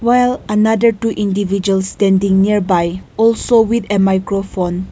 well another two individual standing nearby also with a microphone.